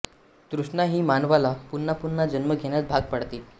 तृष्णा ही मानवाला पुन्हा पुन्हा जन्म घेण्यास भाग पाडते